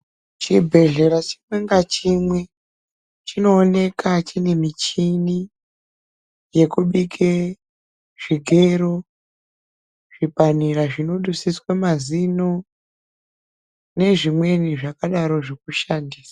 Chibhedhlera chimwe nachimwe chinoonekwa chine michini yekubika zvigero zvipanera zvotosiiswa mazino nezvimweni zvakadaro zvekushandisa.